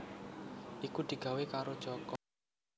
iku digawé karo Joko